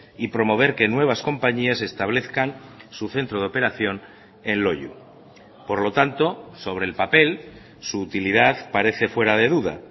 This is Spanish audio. y promover que nuevas compañías establezcan su centro de operación en loiu por lo tanto sobre el papel su utilidad parece fuera de duda